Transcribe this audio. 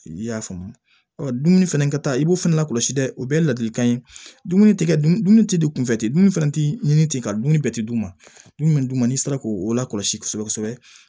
I y'a faamu ɔ dumuni fɛnɛ ka taa i b'o fɛnɛ lakɔlɔsi dɛ o bɛɛ ye ladilikan ye dumuni tɛ kɛ dumuni tɛ di kunfɛ ten dumuni fɛnɛ tɛ ɲini ten ka dumuni bɛɛ tɛ d'u ma dumuni min d'u ma n'i sera k'o lakɔlɔsi kosɛbɛ kosɛbɛ